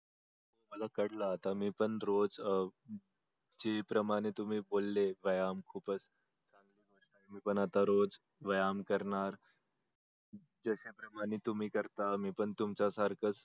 मला कळल आता मी पण रोज ज्या प्रमाणे तुम्ही बोललेत व्यायाम खूपच मी पण आता रोज व्यायाम करणार ज्याच्या प्रमाणे तुम्ही करता मी पण तुमच्या सारख च